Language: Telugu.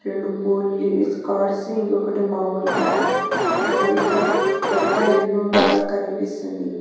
రెండు ఫోల్లీస్ కార్స్ ఇంకోకటి మామూలు కారు మరియు ఇక్కడ పెద్ద ఇల్లు లాగ కనిపిస్తుంది.